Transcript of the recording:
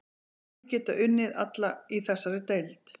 Allir geta unnið alla í þessari deild.